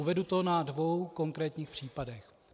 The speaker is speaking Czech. Uvedu to na dvou konkrétních příkladech.